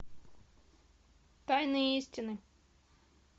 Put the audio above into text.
тайные истины